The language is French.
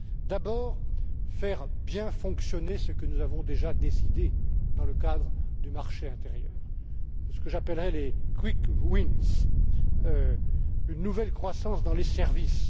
D'abord, bien faire fonctionner ce que nous avons déjà décidé dans le cadre du marché intérieur, ce que j'appellerai les quick wins une nouvelle croissance dans les services.